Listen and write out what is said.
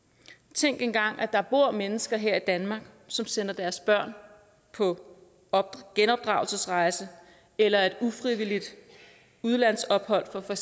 tænk engang at der bor mennesker her i danmark som sender deres børn på genopdragelsesrejse eller et ufrivilligt udlandsophold for for